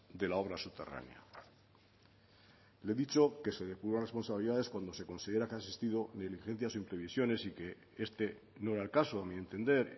de la obra subterránea le he dicho que se depuran responsabilidades cuando se considera que han existido diligencias e imprevisiones y que este no era el caso a mi entender